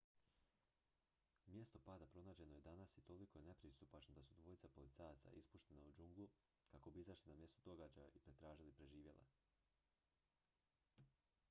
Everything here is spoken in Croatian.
mjesto pada pronađeno je danas i toliko je nepristupačno da su dvojica policajaca ispuštena u džunglu kako bi izašli na mjesto događaja i potražili preživjele